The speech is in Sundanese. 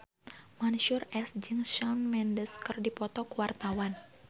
Mansyur S jeung Shawn Mendes keur dipoto ku wartawan